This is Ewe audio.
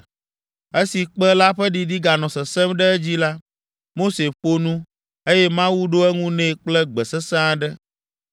Esi kpẽ la ƒe ɖiɖi ganɔ sesẽm ɖe edzi la, Mose ƒo nu, eye Mawu ɖo eŋu nɛ kple gbe sesẽ aɖe.